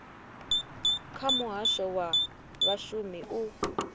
kha muhasho wa vhashumi u